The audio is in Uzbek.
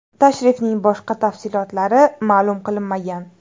Tashrifning boshqa tafsilotlari ma’lum qilinmagan.